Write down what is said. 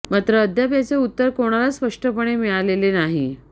मात्र अद्याप याचे उत्तर कोणालाच स्पष्टपणे मिळालेले नाही